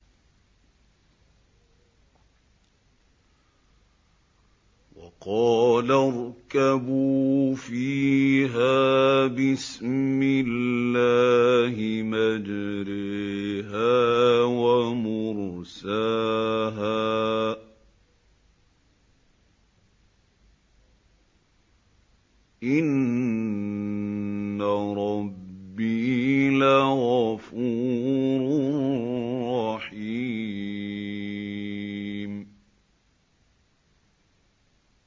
۞ وَقَالَ ارْكَبُوا فِيهَا بِسْمِ اللَّهِ مَجْرَاهَا وَمُرْسَاهَا ۚ إِنَّ رَبِّي لَغَفُورٌ رَّحِيمٌ